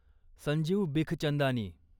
Sanjeev Bikhchandani